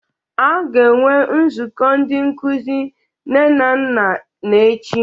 A ga-enwe Nzukọ Ndị Nkuzi Nne na Nna n'echi